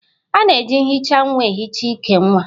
A na-eji nhicha nwa ehicha íkè nwa